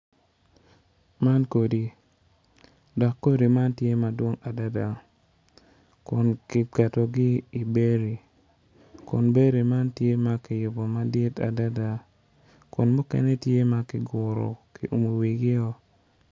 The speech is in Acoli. Man modi dok kodi man tye madwong adada kun kiketogi i bedi kun bedi man tye ma kiyubo madit adada mukene kiguro wigo.